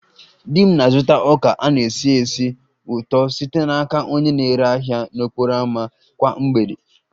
Di m na-azụta ọka a na-esi ísì ụtọ site n'aka onye na-ere ahịa n'okporo ámá kwa mgbede